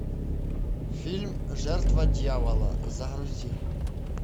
фильм жертва дьявола загрузи